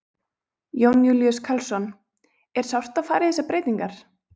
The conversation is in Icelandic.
Jón Júlíus Karlsson: Er sárt að fara í þessar breytingar?